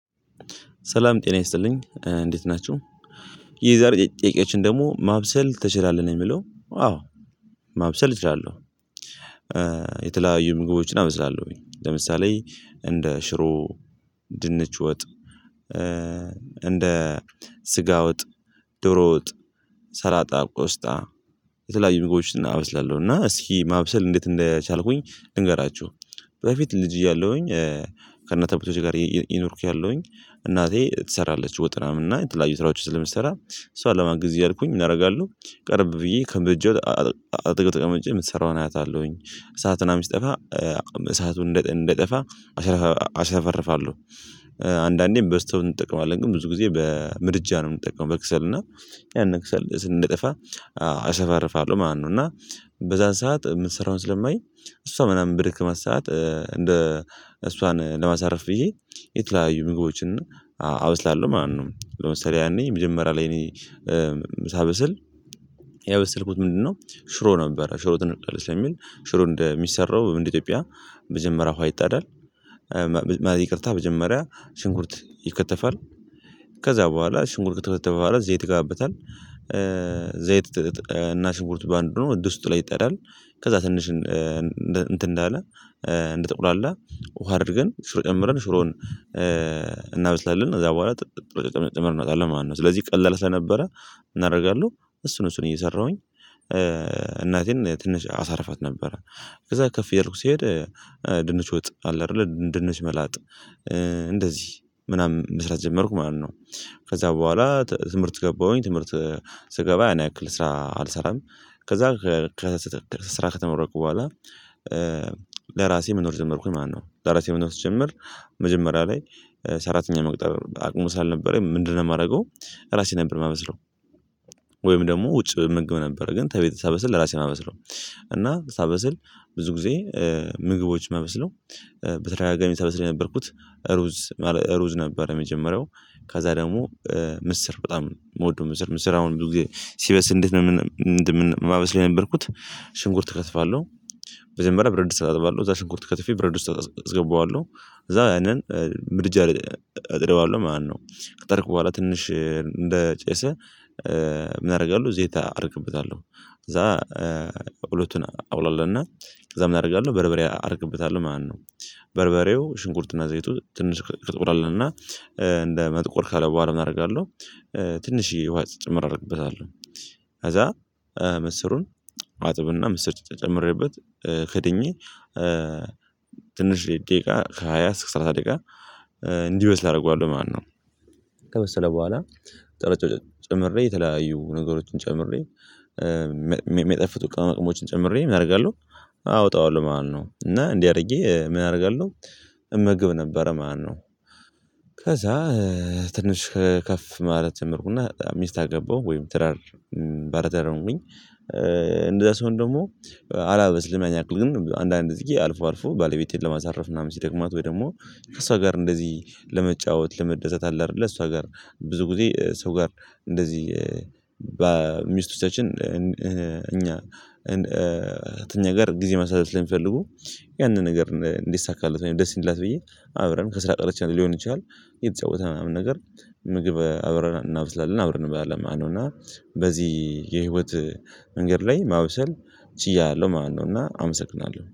ሰላም ጤና ይስጥልኝ እንዴት ናችሁ የዛሬ ጥያቄዎችን ደግሞ ማብሰል ትችላለህ ነው የሚለው አዎ ማብሰል እችላለሁ። የተለያዩ ምግቦችን አመስላለሁኝ ለምሳሌ እንደ ሽሮ ድንች ወጥ። እንደ ስጋውጥ ድሮውጥ ሰራላጣ ቆስጣ የተለያዩ ምግቦችን እናበስላለሁ እና እስኪ ማብሰል እንዴት እንደቻልኩኝ ልንገራችሁ። በፊት ልጅ እያለሁኝ ከነጠብቶች ጋር ይኖርኩኝ ያለሁኝ እናቴ ትሰራለች ወጥናም እና የትላንት ስራዎች ስለሚሰራ እሷ ለማን ጊዜ እያልኩኝ እናደርጋለሁ ቀርብ ብዬ ከንብጀው ጥቅም ጥቅም የምሰራውን አያታለሁኝ እሳትን አምስጠፋ እሳቱን እንደጠፋ አሸፈርፋለሁ። አንዳንዴም በስተው እንጠቀማለን ግን ብዙ ጊዜ በምርጫ ነው የምንጠቀመው በክሰል እና ያን ክሰል ስንጠፋ አሰባርፋለሁ። ማነው እና በዛን ሰዓት የምትሰራውን ስለማይ እሷ ምናምን ብድክ ማስሰዓት እንደ እሷን ለማሳረፍ ይሄ የተለያዩ ምግቦችን እና አወስዳለሁ። ማነው ለምሳሌ ያኔ የመጀመሪያ ላይ እኔ ሳበስል ያበሰልኩት ምንድነው ሽሮ ነበር ሽሮ ትንቀሳቀስ የሚል እንደሚሰራው በምን ኢትዮጵያ መጀመሪያ እኮ አይጣዳል። መጀመሪያ ሽንኩርት ይከተፋል ከዛ በኋላ ሽሙርት ተባባለ ዘይት ይጋበታል። ዘይት እና ሽቡርት በአንዱ ድስቱ ላይ ይጣዳል ከዛ ትንሽ እንትን እንዳለ እንደጠቁላላ ውሃ አድርገን ሽሮ ቀምረን ሽሮን እናበስላለን እዛ በኋላ ጨምረን እናውቃለን ማነው ስለዚህ ቀላል ስለነበረ እናደርጋለን እሱን እሱን እየሰራሁኝ። ትንሽ አሳርፋት ነበረ ከዛ ከፍ የሄድኩ ሲሄድ ድንች ወጥ አለ አይደለ ድንች መላጥ እንደዚህ ምናምን መስራት ጀመርኩ ማለት ነው። ከዛ በኋላ ትምህርት ገባሁኝ ትምህርት ስገባ እኔ አክል ስራ አልሰራም። ከዛ ከስራ ከተመረቁ በኋላ ለራሴ መኖር ጀመርኩኝ ማነው ዳራሲያዊ መኖር ትጀምር መጀመሪያ ላይ ሰራተኛ መቅጠር አቅሙ አልነበረም ምንድነው የማደርገው ራሴ ነበር የማመስለው። ወይም ደግሞ ውጭ ምግብ ነበር ግን ተቤት ሳበስል ለራሴ ነው የማመስለው እና ሳበስል ብዙ ጊዜ ምግቦች መመስለው በተረጋጋ የሚሰበስል የነበርኩት ሩዝ ማለት ሩዝ ነበረ የመጀመሪያው ካዛ ደግሞ ምስር በጣም ሞዶ ምስር ምስር አሁን ብዙ ጊዜ ሲበስ እንደምን ማበስ ላይ ነበርኩት። ሽንኩርት እከትባለሁ በዘንበራ ብር እድስ ውስጥ አጥባለሁ እዛ ሽንኩርት ከትፌ ብረድ ውስጥ አጥባለሁ እዛ ያንን ምድጃ እጥረዋለሁ ማነው ከጠርክ በኋላ ትንሽ እንደ ጨሰ ምናምን ያደርጋሉ ዜታ አርክብታለሁ ከዛ እውሎትን አውሏልና እዛም እናደርጋለን በረበሬ አድርግበታል ማነው በርበሬው ሽንኩርትና ዘይቱ ትንሽ እንቅስቃሴ አለና እንደመጥቆር ካለ በኋላ እናደርጋለን ትንሽዬ ውሃ ጭምር አደርግበታለሁ። ከዛ መስሩን ዋጥብና ምስጭጭ የጀመረበት ክድኜ ትንሽ ደቂቃ ከሃያ አስራ ሰላሳ ደቂቃ እንዲህ ወስድ አደርገዋለሁ ማነው ከመሰለ በኋላ ጥርጭት ጨምሬ የተለያዩ ነገሮችን ጨምሬ የሚጠፍቱ ቀን መጠቅሞችን ጨምሬ አደርጋለሁ። አወጣዋለሁ ማነው እና እንዲህ አድርጌ ምን አደርጋለሁ እምግብ ነበረ ማነው ከዛ ትንሽ ከፍ ማለት ትምህርት እና በጣም ሚስት አገባው ወይም ትራር ባለታር ነው የምንለው። እንደዛ ሰውን ደግሞ አላበስልም አያክልም አንዳንድ እዚህ አልፎ አልፎ ባለቤቴን ለማሳረፍ ምናምን ሲደግማት ወይ ደግሞ ከእሷ ጋር እንደዚህ ለመጫወት ለመደዘት አለ አይደለ እሷ ጋር ብዙ ጊዜ ሰው ጋር እንደዚህ በሚስቱ ሰዎች እኛ እኛ ጋር ጊዜ ማሳደድ ላይ የሚፈልጉ ያንን ነገር እንዲሳካለት ወይም ደስ ይላት ብዬ አብረን ከስራ ቀረች ሊሆን ይችላል። የተጫወተ ምናምን ነገር ምግብ አብረን እናበላለን አብረን እንበላለን አንውና በዚህ የህይወት መንገድ ላይ ማውሰል እጫለሁ ማነው እና አመሰግናለሁ